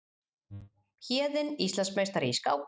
Héðinn Íslandsmeistari í skák